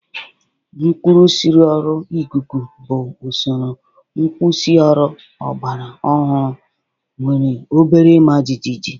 Nkwusioru ikuku bụ usoro nkwusioru ọgbara ọhụrụ nwere obere ịma jijiji